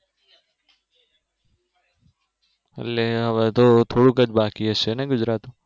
એટલે હવે તો થોડુક જ બાકી હશે ને ગુજરાતમાં